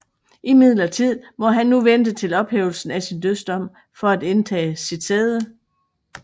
Imidlertid må han nu vente til ophævelsen af sin dødsdom for at indtage sit sæde